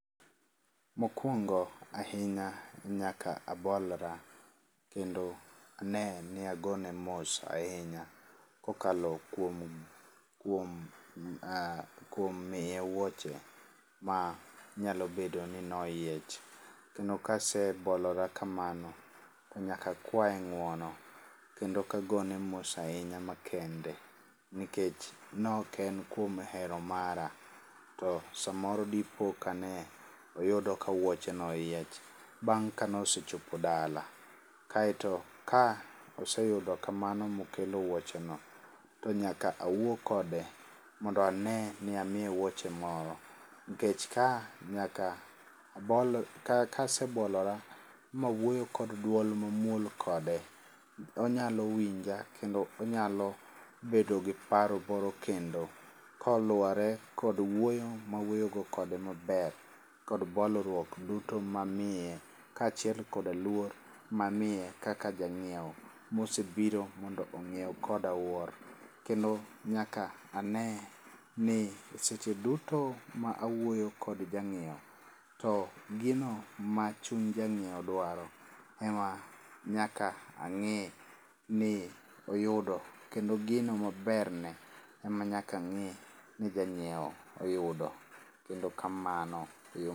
Mokwongo ahinya nyaka abolra, kendo ne ni agone mos ahinya kokalo kuom kuom, ah, kuom miye wuoche ma nyalo bedo ni noyiech. Kendo kasebolora kamano to nyaka akwaye ng'uono kendo kagone mos ahinya makende, nikech nok en kuom hero mara. To samoro dipo ka ne oyudo ka wuoche no oyiech bang' kanosechopo dala. Kaeto ka oseyudo kamano mokelo wuoche no, to nyaka awuo kode mondo ane ni amiye wuoche moro. Nkech ka nyaka abol, ka kasebolora mawuoyo kod dwol mamuol kode, onyalo winja kendo onyalo bedo gi paro moro kendo. Koluwore kod wuoyo mawuoyogo kode maber kod bolruok duto mamiye, kaachiel kod luor mamiye kaka janyieo mosebiro mondo ong'iew koda wuor. Kendo nyaka ane ni seche duto ma awuoyo kod jang'iewo, to gino ma chuny jang'iewo dwaro ema nyaka ang'i ni oyudo. Kendo gino maberne ema nyakang'i ni jang'ieo oyudo. Kemndo kamano, eyo.